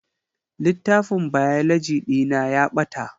Littafin Biology ɗina ya ɓata